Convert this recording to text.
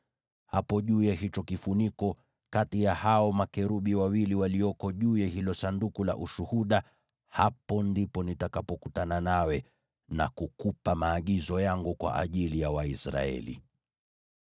Hapo juu ya hicho kifuniko, kati ya hao makerubi wawili walioko juu ya hilo Sanduku la Ushuhuda, hapo ndipo nitakapokutana nawe na kukupa maagizo yangu kwa ajili ya Waisraeli.